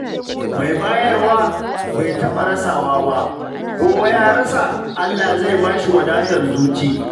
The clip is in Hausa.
Mai bayarwa bai taɓa rasawa ba, ko ya rasa, Allah zai ba shi wadatar zuci.